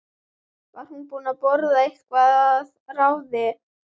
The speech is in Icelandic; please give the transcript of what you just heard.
Var hún búin að borða eitthvað að ráði?